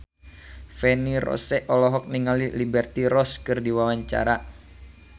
Feni Rose olohok ningali Liberty Ross keur diwawancara